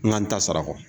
N ka n ta sara ko